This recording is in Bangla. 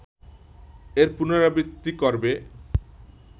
এর পুনরাবৃত্তি করবে